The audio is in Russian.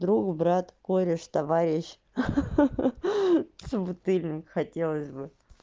друг брат кореш товарищ ха-ха-ха собутыльник хотелось бы